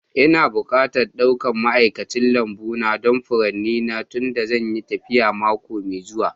Ina bukatar ɗaukan ma'aikacin lambu don furanni na tunda zan yi tafiya mako mai zuwa